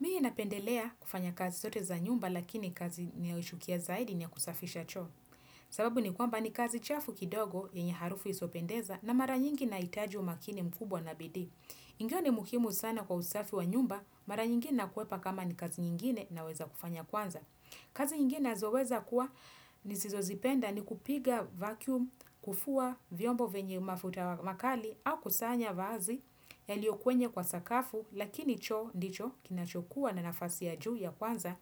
Mimi napendelea kufanya kazi zote za nyumba lakini kazi ninayoichukia zaidi ni ya kusafisha cho. Sababu ni kwamba ni kazi chafu kidogo yenye harufu isiyopendeza na mara nyingi inahitaji umakini mkubwa na bidii ndio ni muhimu sana kwa usafi wa nyumba, mara nyingi nakwepa kama ni kazi nyingine naweza kufanya kwanza. Kazi nyingi nazoweza kuwa nisizozipenda ni kupiga vacuum, kufua, vyombo venye mafuta makali au kusanya vazi yalio kwenye kwa sakafu lakini choo ndicho kinachokuwa na nafasi ya juu ya kwanza